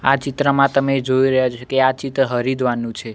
આ ચિત્રમાં તમે જોઈ રહ્યા છો કે આ ચિત્ર હરિદ્વારનુ છે.